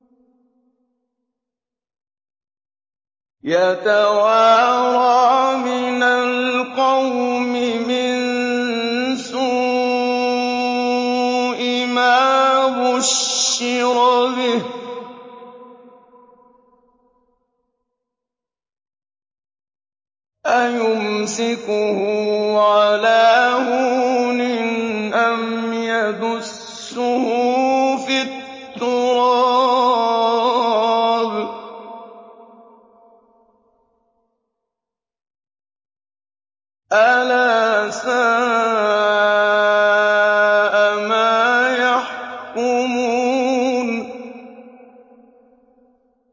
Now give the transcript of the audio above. يَتَوَارَىٰ مِنَ الْقَوْمِ مِن سُوءِ مَا بُشِّرَ بِهِ ۚ أَيُمْسِكُهُ عَلَىٰ هُونٍ أَمْ يَدُسُّهُ فِي التُّرَابِ ۗ أَلَا سَاءَ مَا يَحْكُمُونَ